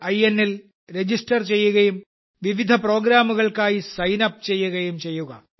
inൽ register ചെയ്യുകയും വിവിധ പ്രോഗ്രാമുകൾക്കായി സൈൻ അപ്പ് ചെയ്യുകയും ചെയ്യുക